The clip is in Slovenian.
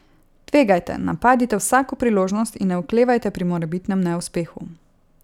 Tvegajte, napadite vsako priložnost in ne oklevajte pri morebitnem neuspehu.